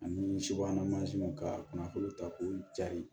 Ani subahana mansinw ka kunnafoniw ta k'u jari